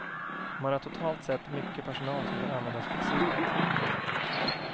Man har totalt sett mycket personal som kan användas flexibelt.